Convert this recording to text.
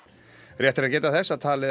rétt er að geta þess að talið er